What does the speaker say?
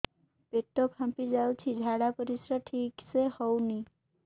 ପେଟ ଫାମ୍ପି ଯାଉଛି ଝାଡ଼ା ପରିସ୍ରା ଠିକ ସେ ହଉନି